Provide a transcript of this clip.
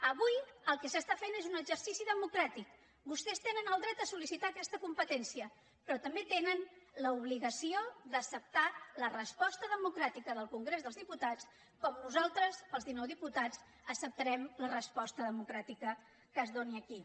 avui el que s’està fent és un exercici democràtic vostès tenen el dret a sol·licitar aquesta competència però també tenen l’obligació d’acceptar la resposta democràtica del congrés dels diputats com nosaltres els dinou diputats acceptarem la resposta democràtica que es doni aquí